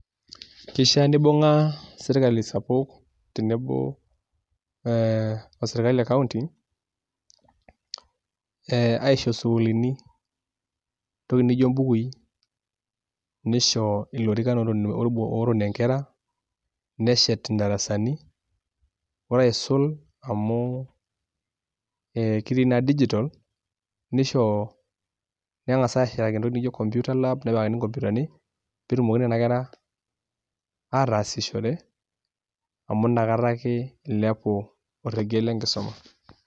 Kishaa nibunga sirkali sapuk tenebo ee osirkali ee ekaunti aisho sukuulini entoki nijo embukui, nisho ilorikan ootonie nkera neshet indarasani, ore aisul amuu kitii naa digital nisho nenkasa ashetaki entoki naijo computer lab nepikaki intokitin naijo inkomputani peetumoki nena kera atasishore amu nakata ake ilepu orekie le nkisuma.